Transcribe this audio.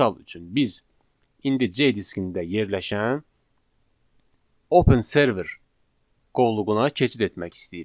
Misal üçün, biz indi C diskində yerləşən Open Server qovluğuna keçid etmək istəyirik.